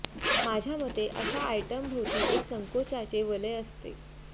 माझ्या मते अश्या आयटम भोवती एक संकोचाचे वलय असते